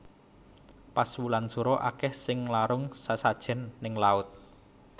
Pas wulan sura akeh sing nglarung sesajen ning laut